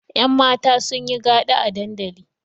Yanmata sun yi gada a dandali.